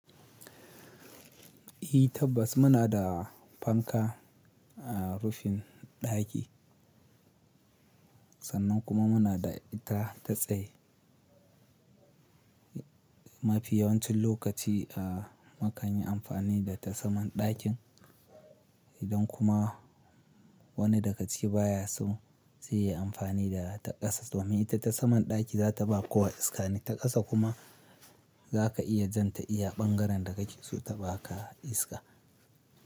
I tabbas muna da fanka a rufin daki sannan kuma muna da ita ta tsaye. Ma fi yawancin lokaci a mu kanyi amfani da ta saman dakin idan kuma wani daga ciki baya so zai yi amfani da ta kasa domin ita ta saman daki za ta ba kowa iska ne ta kasa kuma za ka iya jan ta iya bangaren da kake so ta ba ka iska.